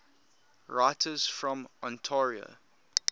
writers from ontario